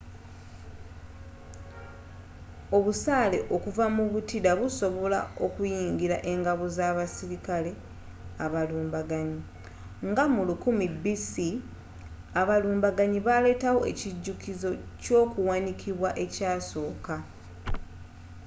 obusaale okuva mu butida busobola okuyingila engabo z'abasirikale abalumbaganyi nga mu 1000 b.c. abalumbaganyi baaletawo ekijukizo kyokuwanikibwa ekyasooka